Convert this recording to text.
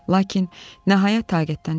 Lakin nəhayət taqətdən düşdüm.